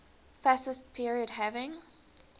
fascist period having